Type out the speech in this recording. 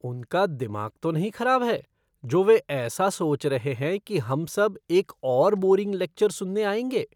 उनका दिमाग तो नहीं खराब है जो वे ऐसा सोच रहे हैं कि हम सब एक और बोरिंग लेक्चर सुनने आएँगे?